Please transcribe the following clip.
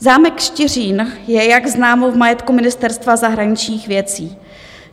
Zámek Štiřín je, jak známo, v majetku Ministerstva zahraničních věcí.